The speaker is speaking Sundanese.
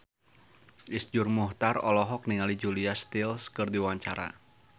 Iszur Muchtar olohok ningali Julia Stiles keur diwawancara